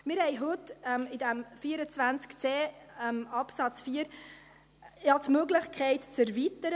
Heute haben wir ja in diesem Artikel 24c Absatz 4 RPG die Möglichkeit zur Erweiterung: